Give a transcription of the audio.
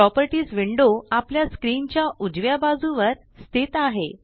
properties window आपल्या screen च्या उजव्या बाजू वर स्थित आहे